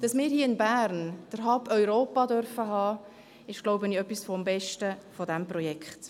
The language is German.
Dass wir hier in Bern den Hub Europa haben dürfen, ist, so glaube ich, etwas vom Besten dieses Projekts.